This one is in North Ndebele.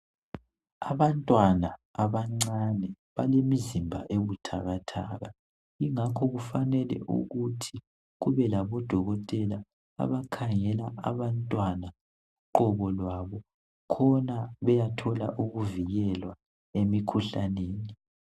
Abantwana abancane balemizimba ebuthakathaka. Ngakho kumele kube labodokoteka abakhangela abantwana. Uqobo lwabo. Khona beyathola ukuvikekwa emikhuhlaneni.